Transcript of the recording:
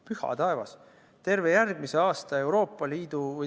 Püha taevas!